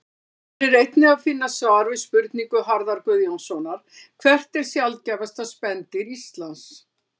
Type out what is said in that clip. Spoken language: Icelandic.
Hér er einnig að finna svar við spurningu Harðar Guðjónssonar Hvert er sjaldgæfasta spendýr Íslands?